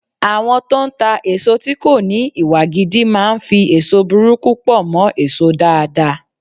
Àwọn tó ń ta èso tí kò ní Ìwà gidi máa ń fi èso burúkú pọ̀ mọ́ èso dáadáa.